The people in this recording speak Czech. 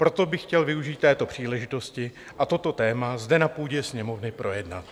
Proto bych chtěl využít této příležitosti a toto téma zde na půdě Sněmovny projednat.